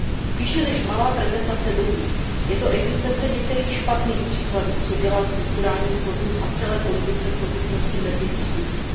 Spíše než malá prezentace dobrých je to existence některých špatných příkladů, která dělá strukturální fondům a celé politice soudržnosti medvědí službu.